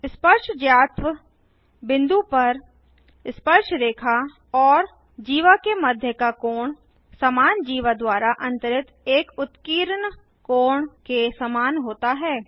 स्पर्शज्यात्व बिंदु पर स्पर्शरेखा और जीवा के मध्य का कोण समान जीवा द्वारा अंतरित एक उत्कीर्ण कोण के समान होता है